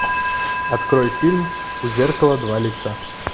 открой фильм у зеркала два лица